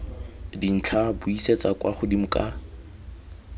dintlha buisetsa kwa godimo ka